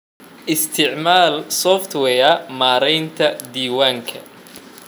Isticmaal software maaraynta diiwaanada.